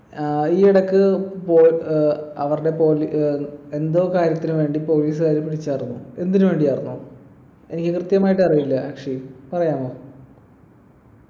ആഹ് ഈയിടക്ക് വോ ഏർ അവരുടെ ഏർ എന്തോ കാര്യത്തിന് വേണ്ടി police കാര് വിളിച്ചാരുന്നു എന്തിനു വേണ്ടിയാർന്നു എനിക്ക് കൃത്യമായിട്ടറീല അക്ഷയ് പറയാമോ